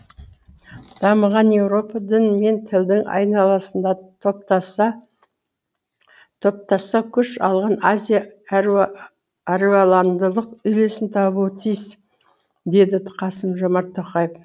дамыған еуропа дін мен тілдің айналасында топтасса күш алған азия әруаландылық үйлесім табуы тиіс деді қасым жомарт тоқаев